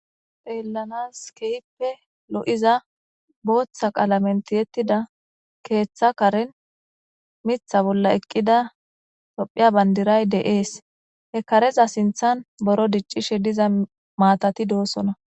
pheellanas keyppe lo7iza booththa qala menti yettida keeththa karen mitha bolla eqqida tophiya bandiray deees he kareza sinthan boro diccishe diza maatati doosona